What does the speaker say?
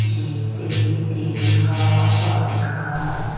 di hittedi diyen gor pot ekkan.